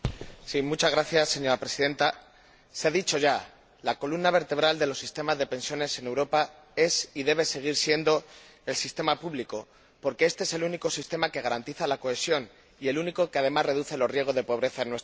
Señora Presidenta, se ha dicho ya la columna vertebral de los sistemas de pensiones en Europa es, y debe seguir siendo, el sistema público, porque éste es el único sistema que garantiza la cohesión y, además, reduce los riesgos de pobreza en nuestra sociedad.